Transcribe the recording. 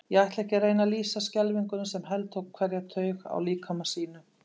Ég ætla ekki að reyna að lýsa skelfingunni, sem heltók hverja taug í líkama mínum.